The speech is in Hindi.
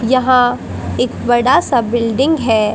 यहां एक बड़ा सा बिल्डिंग है।